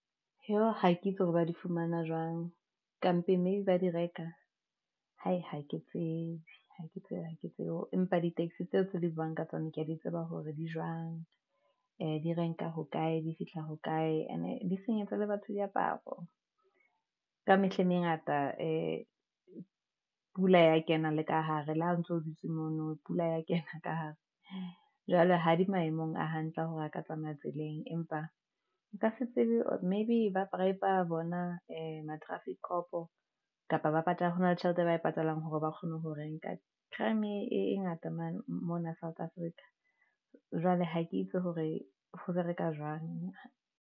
Jo, ha ke itse hore ba di fumana jwang ka mpeng maybe ba di reka hai ha ke tsebe hake tsebe hake tsebe, empa di taxi tseo tse di buang ka tsona, kea di tseba hore di jwang di renka hokae, di fihla hokae ene di senyetsa le batho diaparo. Ka mehla e mengata pula ya kena le ka hare le ha o ntso dutse mono pula ya kena ka hare jwale ha di maemong a hantle hore a ka tsamaya tseleng, empa o ka se tsebe. Maybe ba bribe-a a bona ma traffic cop-o, hona le tjhelete e ba e patalang hore ba kgone ho renka, crieme-e ngata mona South Africa. Jwale ha ke itse hore ho bereka jwang.